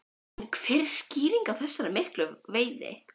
En hver er skýringin á þessari miklu veiði?